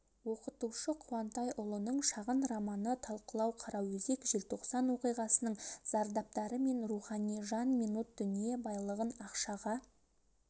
оқытушы қуантайұлының шағын романы талқылау қараөзек желтоқсан оқиғасының зардаптары мен рухани жан минут дүние байлығын ақшаға